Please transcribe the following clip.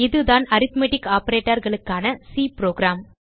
இதுதான் அரித்மெட்டிக் operatorகளுக்கான C program